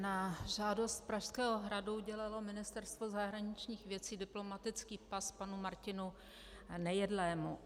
Na žádost Pražského hradu udělalo Ministerstvo zahraničních věcí diplomatický pas panu Martinu Nejedlému.